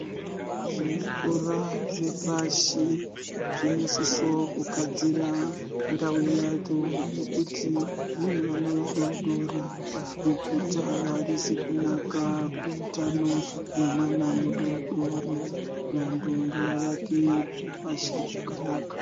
Zvikora zvepashi zvinosisa kugadzira ndau yacho ngekuti zvine vana vadodori bukuta arizi kunaka kumwana mudodori vantu ngava vake zvepashi zvakanaka.